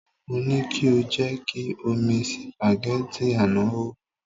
Mo ní kí o jẹ́ kí omi sìpàgẹ́tì àná hó.